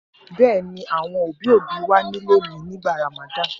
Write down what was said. Bẹ́ẹ̀ ni, àwọn òbí-òbí wà nílé mi nígbà Ramadan.